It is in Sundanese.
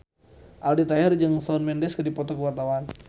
Aldi Taher jeung Shawn Mendes keur dipoto ku wartawan